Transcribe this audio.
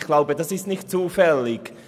Ich glaube, das ist nicht zufällig.